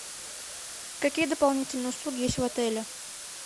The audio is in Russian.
какие дополнительные услуги есть в отеле